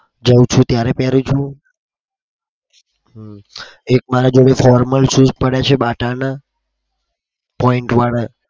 જાઉં છુ ત્યારે પેરુ છું. એક મારા જોડે formal shoes પડ્યા છે. BATA ના